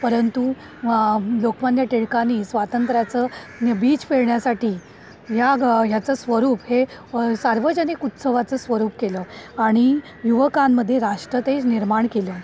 परंतु लोकमान्य टिळकांनी स्वातंत्र्यचं बीज पेरण्यासाठी याचं स्वरूप हे सार्वजनिक उत्सवाचं स्वरूप केल आणि युवकांमध्ये राष्ट्र तेज निर्माण केलं.